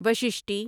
وششٹی